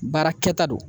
Baara kɛta don